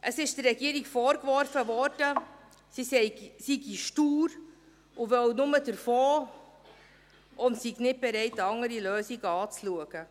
Es wurde der Regierung vorgeworfen, sie sei stur, wolle nur den Fonds und sei nicht bereit, andere Lösungen anzuschauen.